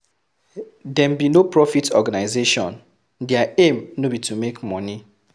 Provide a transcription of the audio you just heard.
Dem be no-profit organisation their aim no be to make money